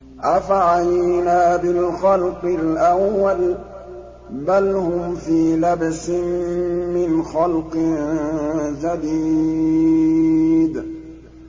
أَفَعَيِينَا بِالْخَلْقِ الْأَوَّلِ ۚ بَلْ هُمْ فِي لَبْسٍ مِّنْ خَلْقٍ جَدِيدٍ